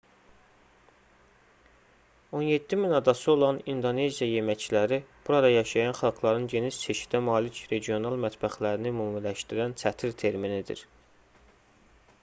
17 000 adası olan i̇ndoneziya yeməkləri burada yaşayan xalqların geniş çeşidə malik regional mətbəxlərini ümumiləşdirən çətir terminidir